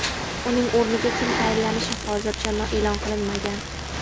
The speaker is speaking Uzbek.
Uning o‘rniga kim tayinlanishi hozircha e’lon qilinmagan.